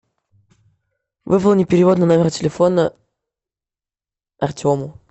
выполни перевод на номер телефона артему